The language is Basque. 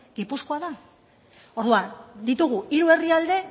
gipuzkoa da orduan ditugu hiru herrialde